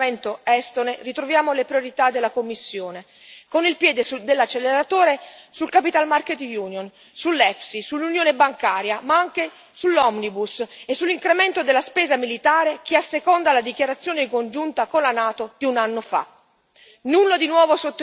E purtroppo, dietro il paravento estone, ritroviamo le priorità della Commissione, con il piede dell'acceleratore sull'Unione dei mercati dei capitali, sul FEIS, sull'Unione bancaria, ma anche sull'omnibus e sull'incremento della spesa militare che asseconda la dichiarazione congiunta con la NATO di un anno fa.